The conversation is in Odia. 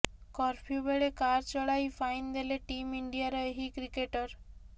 କର୍ଫ୍ୟୁ ବେଳେ କାର୍ ଚଳାଇ ଫାଇନ୍ ଦେଲେ ଟିମ୍ ଇଣ୍ଡିଆର ଏହି କ୍ରିକେଟର୍